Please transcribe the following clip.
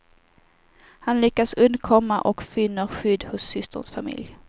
Han lyckas undkomma och finner skydd hos systerns familj.